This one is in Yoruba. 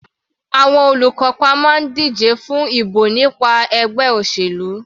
Àwọn olùkópa máa ń díje fún ìbò nípa ẹgbẹ́ òṣèlú.